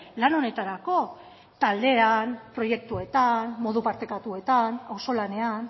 lan honetarako taldean proiektuetan modu partekatuetan auzolanean